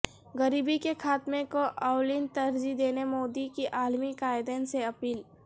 غریبی کے خاتمہ کو اولین ترجیح دینے مودی کی عالمی قائدین سے اپیل